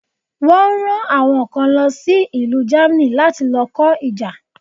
Wọ́n ran àwọn kan lo sí ìlú Germany láti lo kó ìjà